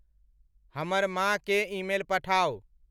हमर माँ केँ ईमेल पठाउ।